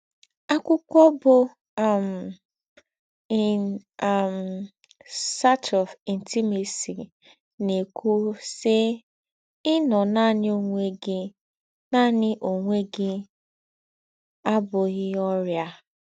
Ákwụ́kwọ̀ bụ́ um In um Search of Intimacy na-ēkùwú, sị́: “Ị̀nọ̀ nánị̀ ònwé gị̀ nánị̀ ònwé gị̀ abụ́ghị̀ ọrịà.